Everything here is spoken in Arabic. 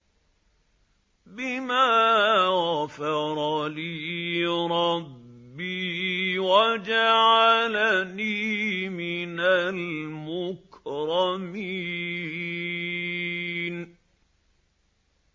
بِمَا غَفَرَ لِي رَبِّي وَجَعَلَنِي مِنَ الْمُكْرَمِينَ